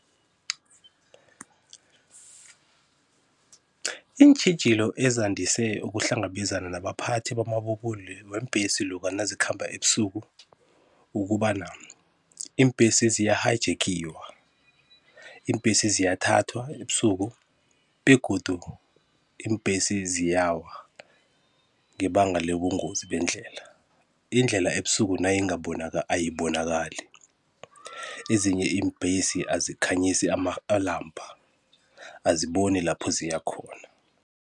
Iintjhijilo ezandise ukuhlangabezana nabaphathi bamabubule weembhesi loka nazikhamba ebusuku ukobana iimbhesi ziya hayijekhiwa, iimbesi ziyathathwa ebusuku begodu iimbhesi ziyawa ngebanga lebungozi bendlela, indlela ebusuku ayibonakali ezinye iimbhesi azikhanyisi amalampa aziboni lapho ziyakhona.